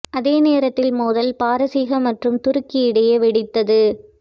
அதே நேரத்தில் மோதல் பாரசீக மற்றும் துருக்கி இடையே வெடித்தது